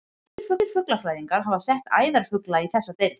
Margir fuglafræðingar hafa sett æðarfugla í þessa deild.